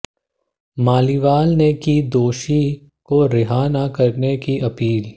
मालीवाल ने की दोषी को रिहा ना करने की अपील